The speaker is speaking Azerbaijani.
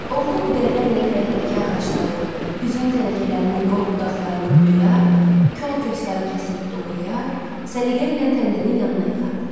Oğlu bu dəhrə ilə həyətdəki ağacların, üzüm tənəklərinin qol budaqlarını budayar, kol-kosları kəsib doğrayar, səliqə ilə təndirin yanına yığardı.